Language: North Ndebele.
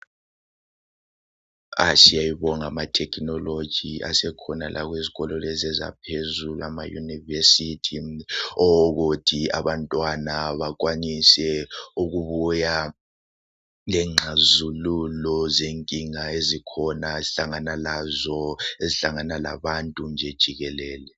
Siyabonga ama thekinoloji asekhona ezikolo zaphezulu emayunivesithi ukuthi abantwana bakwanise ukubuya lengxazululo zenkinga ezikhona esihlangana lazo, ezihlangana labantu nje jikelele.